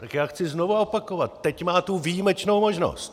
Tak já chci znovu opakovat - teď má tu výjimečnou možnost.